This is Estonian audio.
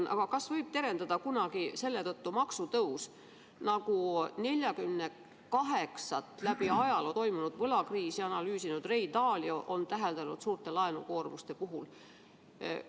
–: kas kunagi võib selle tõttu terendada maksutõus, nagu ajaloos toimunud 48 võlakriisi analüüsinud Ray Dalio on suurte laenukoormuste puhul täheldanud?